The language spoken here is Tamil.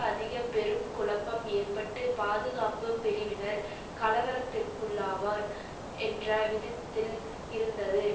அதிக பெரும் குழப்பம் ஏற்பட்டு பாதுகாப்பு பிரிவினர் கலவரத்திற்குள்ளாவார் என்ற விதத்தில் இருந்தது